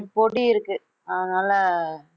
பொடி இருக்கு அதனாலே